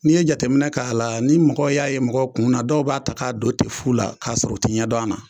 N'i ye jateminɛ k'a la ni mɔgɔw y'a ye mɔgɔ kun na dɔw b'a ta k'a don ten fu la k'a sɔrɔ u te ɲɛ don a na